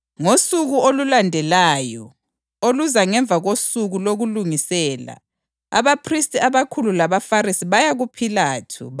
Ngosuku olulandelayo, oluza ngemva kosuku lokuLungisela, abaphristi abakhulu labaFarisi baya kuPhilathu.